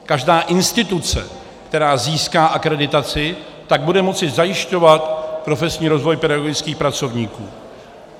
Každá instituce, která získá akreditaci, tak bude moci zajišťovat profesní rozvoj pedagogických pracovníků.